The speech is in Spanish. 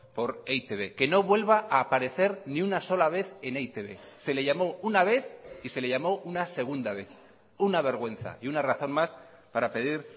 por e i te be que no vuelva a aparecer ni una sola vez en e i te be se le llamó una vez y se le llamó una segunda vez una vergüenza y una razón más para pedir